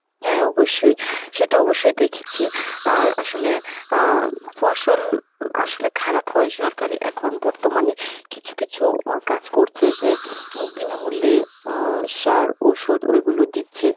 হ্যাঁ অবশ্যই। সে তো অবশ্যই দেখেছি। আর আসলে আহ ফসল আসলে খারাপ হয় সরকারি এখন বর্তমানে কিছু কিছু ও কাজ করছে যে উম বিনামূল্যে আহ সার ওষুধ ওইগুলো দিচ্ছে।